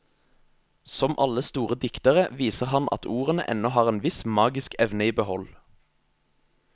Som alle store diktere viser han at ordene ennå har en viss magisk evne i behold.